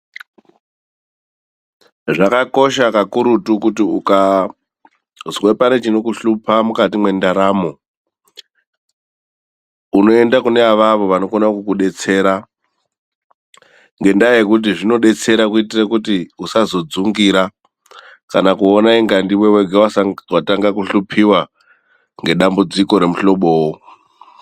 Zvakakosha kakurutu kuti ukazwe pane chinokuhlupa mukati mwendaramo. Unoenda kune avavo vanokona kukudetsera. Ngendaa yekuti zvinodetsera kuitira kuti usazodzungira, kana kuona inga ndiwe wega watanga kuhlupiwa ngedambudziko remuhlobowo.